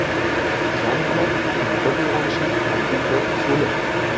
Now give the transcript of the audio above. Kam uxlab, tiniqib uyg‘onishning oddiy bir usuli.